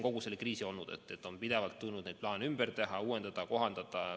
Kogu selle kriisi ajal on pidevalt tulnud plaane ümber teha, uuendada, kohandada.